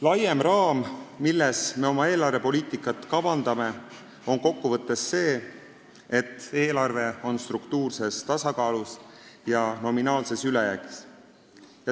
Laiem raamistik, milles me oma eelarvepoliitikat kavandame, on kokkuvõttes see, et eelarve on struktuurses tasakaalus ja nominaalses ülejäägis.